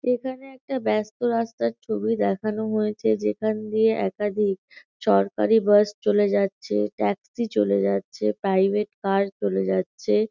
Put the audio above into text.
এখানে একটা ব্যাস্ত রাস্তার ছবি দেখানো হয়েছে যেখান দিয়ে একাধিক সরকারি বাস চলে যাচ্ছে ট্যাক্সি চলে যাচ্ছে প্রাইভেট কার চলে যাচ্ছে।